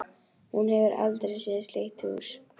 Hún hefur aldrei séð slíkt hús.